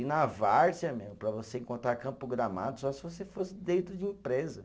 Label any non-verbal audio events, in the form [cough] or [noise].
E na várzea, [unintelligible] para você encontrar campo gramado, só se você fosse dentro de empresa.